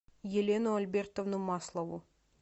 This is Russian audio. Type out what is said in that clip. елену альбертовну маслову